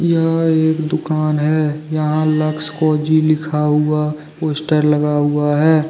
यह एक दुकान है यहां लक्स कोजी लिखा हुआ पोस्टर लगा हुआ है।